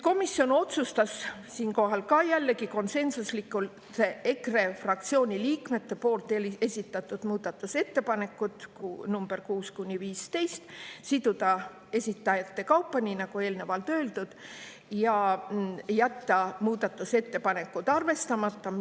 Komisjon otsustas, siinkohal jällegi konsensuslikult, EKRE fraktsiooni liikmete esitatud muudatusettepanekud nr 6–15 siduda esitajate kaupa, nii nagu eelnevalt öeldud, ja jätta muudatusettepanekud arvestamata.